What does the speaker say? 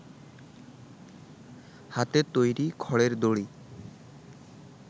হাতে তৈরি খড়ের দড়ি